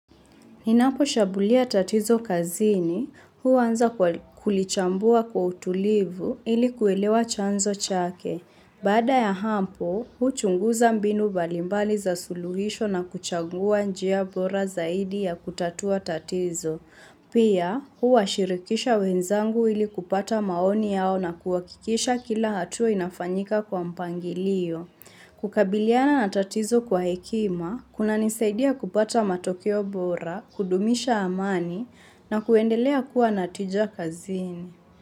Ninaposhambulia tatizo kazini, huanza kwa kulichambua kwa utulivu ili kuelewa chanzo chake. Baada ya hapo, huchunguza mbinu mbalimbali za suluhisho na kuchagua njia bora zaidi ya kutatua tatizo. Pia, huwashirikisha wenzangu ili kupata maoni yao na kuwakikisha kila hatua inafanyika kwa mpangilio. Kukabiliana na tatizo kwa hekima, kunanisaidia kupata matokeo bora, kudumisha amani na kuendelea kuwa na tija kazini.